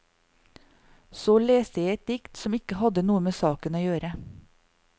Så leste jeg et dikt som ikke hadde noe med saken å gjøre.